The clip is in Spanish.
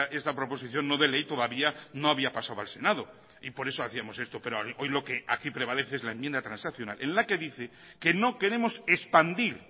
esta proposición no de ley todavía no había pasado al senado y por eso hacíamos esto pero hoy lo que aquí prevalece es la enmienda transaccional en la que dice que no queremos expandir